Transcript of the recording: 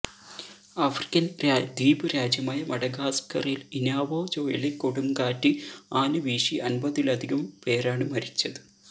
African ദ്വീപ് രാജ്യമായ മഡഗാസ്കറിൽ ഇനാവോ ചുഴലിക്കൊടുങ്കാറ്റ് ആഞ്ഞു വീശി അൻപതിലധികം പേരാണ് മരിച്ചത്